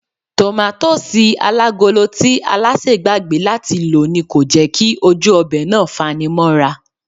Tòmátósì alágolo tí Alásè gbàgbé láti lò ni kò jẹ́ kí ojú ọbẹ̀ náà fanimóra